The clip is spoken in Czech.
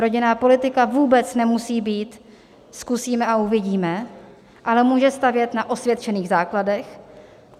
Rodinná politika vůbec nemusí být "zkusíme a uvidíme", ale může stavět na osvědčených základech.